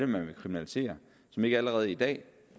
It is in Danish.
man vil kriminalisere som ikke allerede i dag